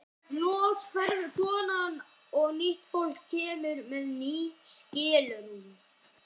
Loks hverfur konan og nýtt fólk kemur með ný skilrúm.